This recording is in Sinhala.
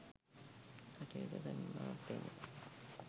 කටයුතු කරන බවක් පෙනේ.